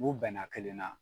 U bɛnna kelen na